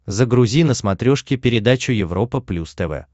загрузи на смотрешке передачу европа плюс тв